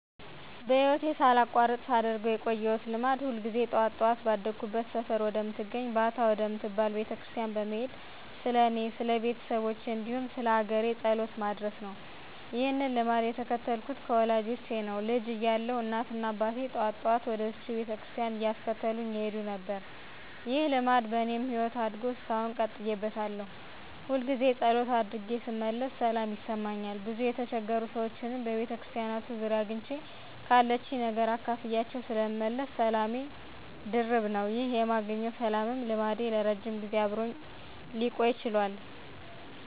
በህይወቴ ሳላቋርጥ ሳደርገው የቆየሁት ልማድ ሁል ጊዜ ጠዋት ጠዋት ባደኩበት ሰፈር ወደምትገኝ ባታ ወደምትባል ቤተክርስቲያን በመሄድ ስለኔ፣ ስለቤተሰቦቼ፣ እንዲሁም ስለሀገሬ ጸሎት ማድረስ ነው። ይህንን ልማድ የተከተልኩት ከወላጆቼ ነው። ልጅ እያለሁ እናትና አባቴ ጠዋት ጠዋት ወደዝችው ቤተክርስቲያን እያስከተሉኝ ይሄዱ ነበር። ይህ ልማድ በኔም ህይወት አድጎ እስካሁን ቀጥዬበታለሁ። ሁልጊዜ ፀሎት አድርጌ ስመለስ ሰላም ይሰማኛል፤ ብዙ የተቸገሩ ሰዎችንም በቤተክርስቲያኒቱ ዙሪያ አግኝቼ ካለችኝ ነገር አካፍያቸው ስለምመለስ ሰላሜ ድርብ ነው። ይህ የማገኘውም ሰላምም ልማዴ ለረጅም ጊዜ አብሮኝ ሊቆይ ችሏል።